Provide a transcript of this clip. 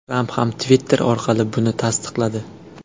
Tramp ham Twitter orqali buni tasdiqladi .